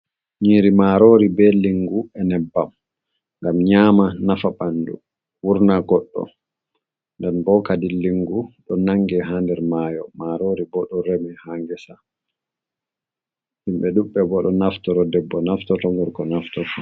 Nyiri marori ɓe lingu, e nyeɓɓam. Ngam nyama nafa ɓanɗu wurna goɗɗo. Nɗen ɓo kaɗi lingu ɗo nange ha nɗer mayo. Marori ɓo ɗo remi ha gesa. Himɓe ɗuɓɓe ɓo ɗo naftoro ɗeɓɓo naftoro gorko naftorto.